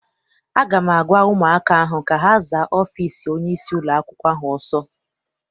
A ga m agwa ụmụaka ahụ ka ha zaa ọfịịsi onyeisi ụlọakwụkwọ ahụ ọsọ!